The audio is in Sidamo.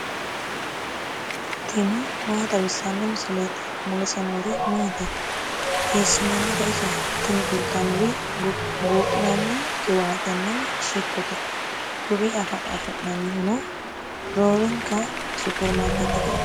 tini maa xawissanno misileeti ? mulese noori maati ? hiissinannite ise ? tini kultannori buudhinanni qiwaatenna shittote. kuri afi'nannihuno roorwnka superimaarikeetteteeti.